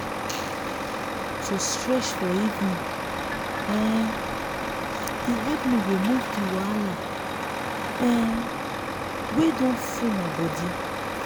to stretch for evening um dey help me remove the wahala um wey don full my body.